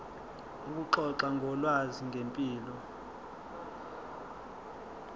ukuxoxa ngolwazi ngempilo